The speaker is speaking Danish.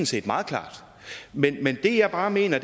set meget klart det jeg bare mener